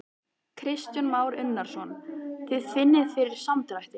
Kristján Már Unnarsson: Þið finnið fyrir samdrætti?